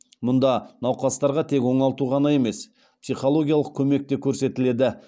мұнда науқастарға тек оңалту ғана емес психологиялық көмек те көрсетіледі